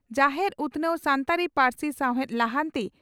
ᱡᱟᱦᱮᱨ ᱩᱛᱷᱱᱟᱹᱣ ᱥᱟᱱᱛᱟᱲᱤ ᱯᱟᱨᱥᱤ ᱥᱟᱣᱦᱮᱫ ᱞᱟᱦᱟᱱᱛᱤ